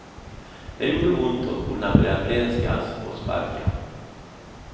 Det gjorde ont och korna började vrenskas och sparka.